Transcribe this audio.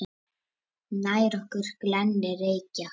Nær okkur glennir Reykja